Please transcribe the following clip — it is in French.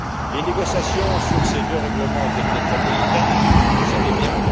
Les négociations sur ces deux règlements ont été très délicates, vous le savez bien.